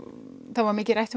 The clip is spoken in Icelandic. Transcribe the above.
það var mikið rætt